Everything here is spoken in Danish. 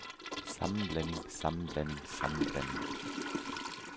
sammenblanding sammenblanding sammenblanding